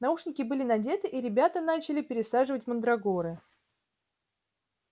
наушники были надеты и ребята начали пересаживать мандрагоры